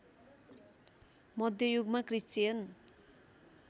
मध्य युगमा क्रिश्चियन